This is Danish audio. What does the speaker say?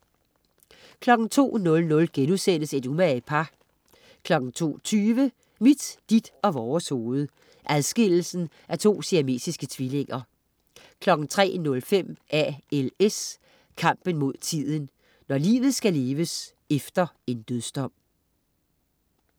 02.00 Et umage par* 02.20 Mit, dit og vores hoved. Adskillelsen af to siamesiske tvillinger 03.05 ALS. Kampen mod tiden. Når livet skal leves efter en dødsdom